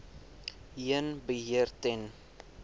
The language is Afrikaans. heen beheer ten